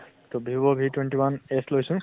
তʼ vivo v twenty one s লৈছো